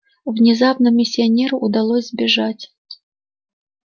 внезапно миссионеру удалось сбежать